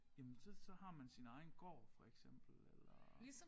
Jamen så så har man sin egen gård for eksempel eller